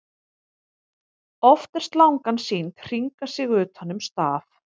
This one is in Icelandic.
oft er slangan sýnd hringa sig utan um staf